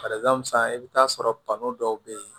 san i bi t'a sɔrɔ kanu dɔw be yen